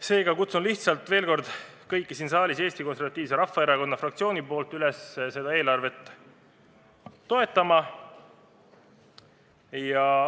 Seega kutsun lihtsalt veel kord Eesti Konservatiivse Rahvaerakonna fraktsiooni nimel kõiki siin saalis üles seda eelarvet toetama.